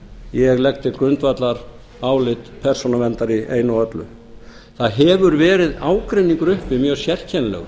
ég legg til grundvallar álit persónuverndar í einu og öllu það hefur verið ágreiningur uppi mjög sérkennilegur